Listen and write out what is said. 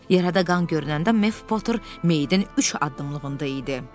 Yarada qan görünəndə Mef Poter meyidin üç addımlığında idi.